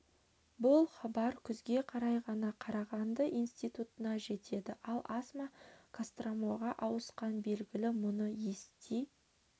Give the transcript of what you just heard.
бұл хабар күзге қарай ғана қарағанды институтына жетеді ал асма костромаға ауысқаны белгілі мұны ести